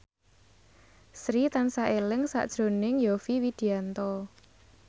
Sri tansah eling sakjroning Yovie Widianto